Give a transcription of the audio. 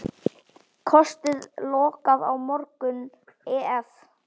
Kosti lokað á morgun ef.